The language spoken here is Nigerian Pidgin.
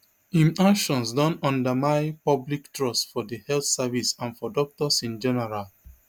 im actions don undermine public trust for di health service and for doctors in general